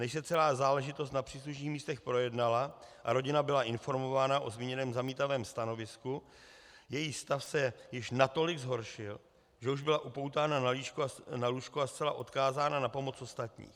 Než se celá záležitost na příslušných místech projednala a rodina byla informována o zmíněném zamítavém stanovisku, její stav se již natolik zhoršil, že již byla upoutána na lůžko a zcela odkázána na pomoc ostatních.